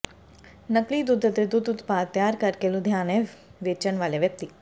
ਨਕਲੀ ਦੁੱਧ ਅਤੇ ਦੁੱਧ ਉਤਪਾਦ ਤਿਆਰ ਕਰਕੇ ਲੁਧਿਆਣੇ ਵੇਚਣ ਵਾਲੇ ਵਿਅਕਤੀ